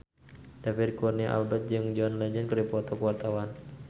David Kurnia Albert jeung John Legend keur dipoto ku wartawan